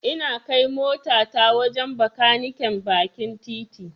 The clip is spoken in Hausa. Ina kai motata wajen Bakaniken bakin titi.